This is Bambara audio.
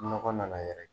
Nɔgɔ nana yɛrɛ